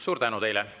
Suur tänu teile!